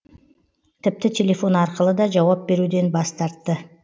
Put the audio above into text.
тіпті телефон арқылы да жауап беруден бас тартты